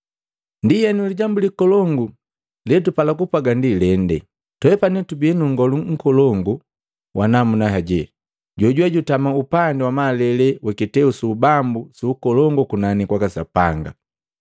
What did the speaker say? Ndienu, lijambu likolongu letupala kupwaga ndi lende: Twepani tubii nu Nngolu Mkolongu wa namuna heji, jojuwe jutama upandi wa malele wa kiteu su ubambu su Ukolongu kunani kwaka Sapanga.